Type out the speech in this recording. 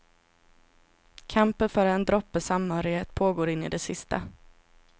Kampen för en droppe samhörighet pågår in i det sista.